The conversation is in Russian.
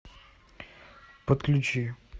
подключи